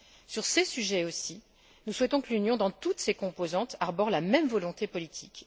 Sur ces sujets aussi, nous souhaitons que l'Union, dans toutes ses composantes, arbore la même volonté politique.